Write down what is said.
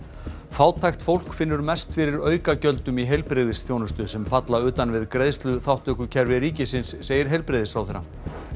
fátækt fólk finnur mest fyrir aukagjöldum í heilbrigðisþjónustu sem falla utan við greiðsluþátttökukerfi segir heilbrigðisráðherra